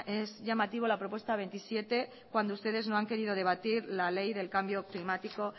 es llamativo la propuesta veintisiete cuando ustedes no han querido debatir la ley del cambio climático